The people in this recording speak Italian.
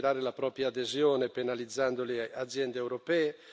e far crollare il regime iraniano sotto la pressione economica.